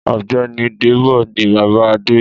Ọ̀gbẹ́ni Débọ̀ ni bàbá Adé.